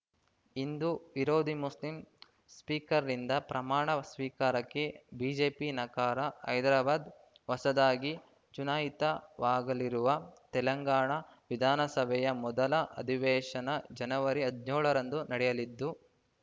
ಹಿಂದೂ ವಿರೋಧಿ ಮುಸ್ಲಿಂ ಸ್ಪೀಕರ್‌ರಿಂದ ಪ್ರಮಾಣ ಸ್ವೀಕಾರಕ್ಕೆ ಬಿಜೆಪಿ ನಕಾರ ಹೈದರಾಬಾದ್‌ ಹೊಸದಾಗಿ ಚುನಾಯಿತವಾಗಳಿರುವ ತೆಲಂಗಾಣ ವಿಧಾನಸಭೆಯ ಮೊದಲ ಅಧಿವೇಶನ ಜನವರಿ ಹದನ್ಯೋಳರಂದು ನಡೆಯಲಿದ್ದು